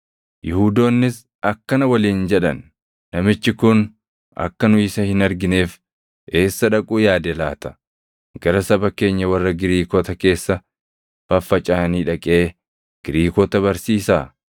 Yihuudoonnis akkana waliin jedhan; “Namichi kun akka nu isa hin argineef eessa dhaquu yaade laata? Gara saba keenya warra Giriikota keessa faffacaʼanii dhaqee Giriikota barsiisaa?